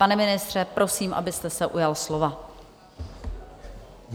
Pane ministře, prosím, abyste se ujal slova.